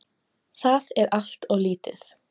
Það er allt of lítið.